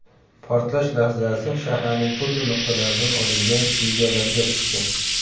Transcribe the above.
Portlash lahzasi shaharning turli nuqtalaridan olingan videolarga tushdi.